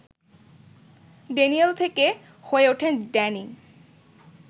Daniel থেকে হয়ে ওঠেন ড্যানি